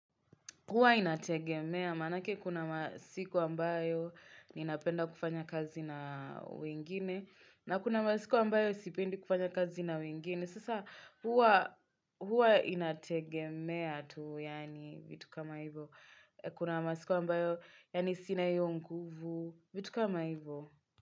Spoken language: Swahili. Huwa inategemea maanake kuna masiku ambayo ninapenda kufanya kazi na wengine na kuna masiku ambayo sipendi kufanya kazi na wengine. Sasa huwa inategemea tu yaani vitu kama hivyo. Kuna masiku ambayo yani sina hiyo nguvu vitu kama hivo.